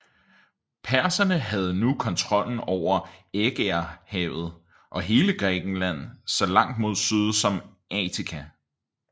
Perserne havde nu kontrollen over Ægæerhavet og hele Grækenland så langt mod syd som Attika